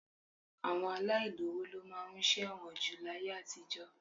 Àwọn aláìlówo ló máa ń ṣẹ̀wọ̀n jù láyé àtijọ́